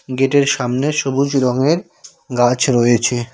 গেটের সামনে সবুজ রঙের গাছ রয়েছে।